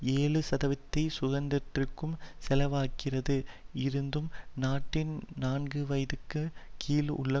ஏழு சதவீதத்தை சுகாதாரத்திற்கும் செலவாக்கிறது இருந்தும் நாட்டின் நான்குவயதுக்கு கீழே உள்ள